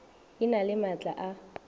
e na le maatla a